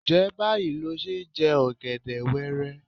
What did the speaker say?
Ǹjẹ́ báyìí lo ṣe ń jẹ ọ̀gẹ̀dẹ̀ wẹẹrẹ?